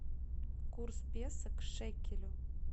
курс песо к шекелю